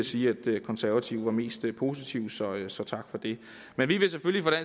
sige at konservative var mest positiv så så tak for det men vi vil selvfølgelig